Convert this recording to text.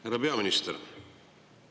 Härra peaminister!